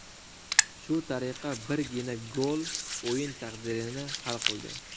Shu tariqa birgina gol o‘yin taqdirini hal qildi.